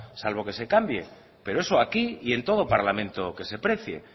salvo que se cambie pero eso aquí y en todo parlamento que se precie